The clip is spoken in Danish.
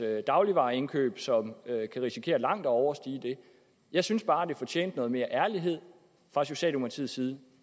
dagligvareindkøb som kan risikere langt at overstige det jeg synes bare det fortjente noget mere ærlighed fra socialdemokratiets side